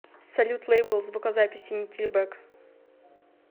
салют лейбл звукозаписи никельбэк